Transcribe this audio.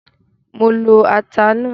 Mo lo ata náà.